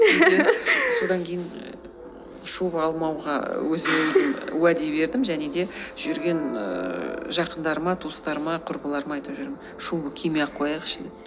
содан кейін ііі шуба алмауға өзіме өзім уәде бердім және де жүрген ііі жақындарыма туыстарыма құрбыларыма айтып жүрем шубы кимей ақ қояйықшы деп